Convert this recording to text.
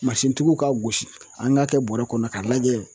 Mansintigiw ka gosi an k'a kɛ bɔrɛ kɔnɔ k'a lajɛ